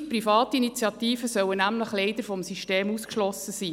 Gewisse private Initiativen sollen nämlich leider vom System ausgeschlossen sein.